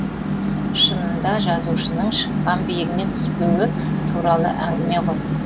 шынында жазушының шыққан биігінен түспеуі туралы әңгіме ғой